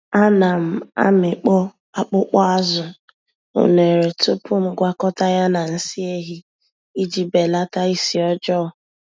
Ana m amịkpọ akpụkpọ-azụ unere tupu m gwakọta ya na nsị ehi iji belata isi ọjọọ.